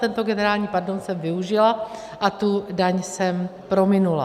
Tento generální pardon jsem využila a tu daň jsem prominula.